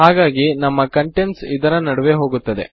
ಹಾಗಾಗಿ ನಮ್ಮ ಕಂಟೆಂಟ್ಸ ಇದರ ನಡುವೆ ಹೋಗುತ್ತದೆ